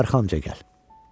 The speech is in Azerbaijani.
Arxanca gəl.